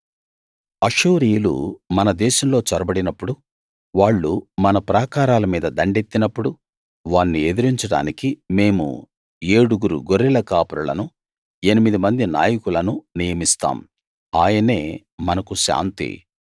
అష్షూరీయులు మన దేశంలో చొరబడినప్పుడు వాళ్ళు మన ప్రాకారాల మీద దండెత్తినప్పుడు వాన్ని ఎదిరించడానికి మేము ఏడుగురు గొర్రెల కాపరులను ఎనిమిది మంది నాయకులను నియమిస్తాం ఆయనే మనకు శాంతి